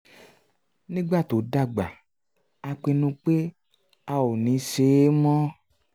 nígbà tó dàgbà a pinnu pé a ò ní ṣe é mọ́